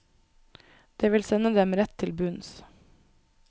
Det vil sende dem rett til bunns.